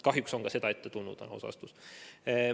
Kahjuks on ka seda ette tulnud, see on aus vastus.